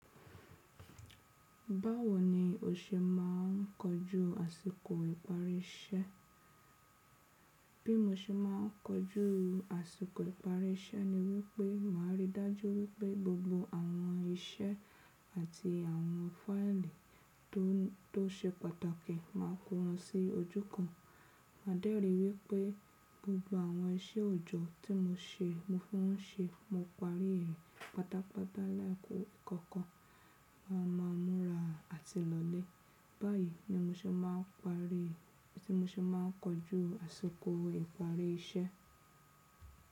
Báwo ni o ṣe máà ń kọjú àsìkò ìparí iṣẹ́? Bí mo ṣe máà ń kọjú àsìkò ìparí iṣẹ́ ni wípé màá ríi dájú wípé gbogbo àwọn iṣẹ́ àti àwọn fáili tó, tó ṣe pàtàkì máa kó wọn sí ojú kan. Màá dẹ́rì wípé gbogbo àwọn iṣẹ́ òjọ̀ tí mo ṣe, mo fún un se, mo parí rẹ̀ pátápátá láì kó ìkọ̀kan. Máa ma múra àti lọlé. Báyìí ni mo ṣe máà ń parí, tí mo ṣe máà ń kojú àsìkò ìparí iṣẹ́.